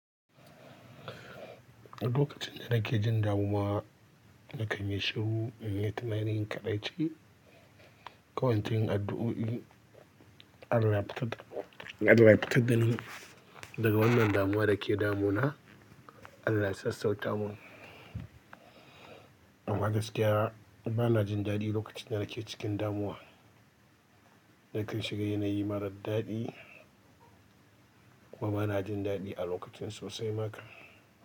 A lokacin da nake jin damuwa na kan yi shiru, inyi tunanin kadai ce. Kawancin addu'o'i Allah ya fitar dani daga wannan damuwa da ke damu na, Allah ya sassauta mun. Amma gaskiya bana jin daɗi lokacin da nake cikin damuwa. Da kan shiga yanayi mara daɗi kuma bana jin daɗi a lokacin sosai maka.